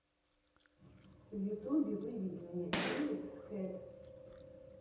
в ютюбе выведи мне элекс кэт